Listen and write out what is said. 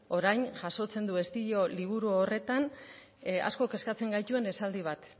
orain jasotzen du estilo liburu horretan asko kezkatzen gaituen esaldi bat